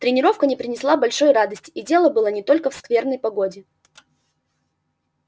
тренировка не принесла большой радости и дело было не только в скверной погоде